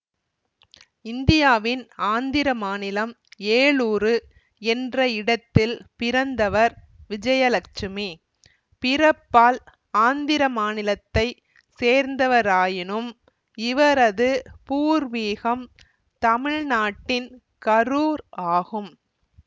இந்தியாவின் ஆந்திரமாநிலம் ஏலூரு என்ற இடத்தில் பிறந்தவர் விஜயலட்சுமி பிறப்பால் ஆந்திரமாநிலத்தை சேர்ந்தவராயினும் இவரது பூர்வீகம் தமிழ் நாட்டின் கரூர் ஆகும்